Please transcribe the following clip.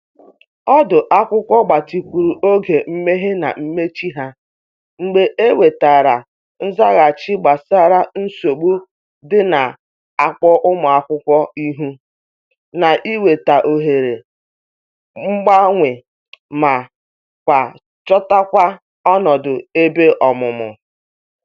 Ọdu akwụkwọ gbatịkwuru oge mmehe na mmechi ya mgbe e nwetara nzaghachi gbasara nsogbu ndị n'akpọ ụmụ akwụkwọ ihu n’ịnweta ohere banye ma kwa chota ọnọdụ ebe ọmụmụ.